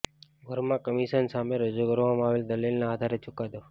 Verma commission સામે રજૂ કરવામાં આવેલ દલીલના આધારે ચૂકાદો